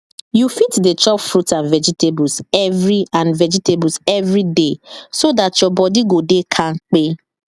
you fit dey chop fruit and vegetables every and vegetables every day so dat your body go dey kampe